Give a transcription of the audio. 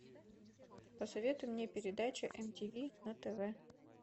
посоветуй мне передачу мтв на тв